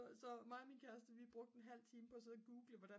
så mig og min kæreste vi brugte en halv time på at sidde og google hvordan